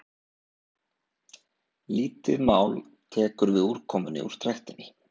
Lítið mál tekur við úrkomunni úr trektinni.